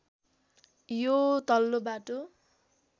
यो तल्लो बाटो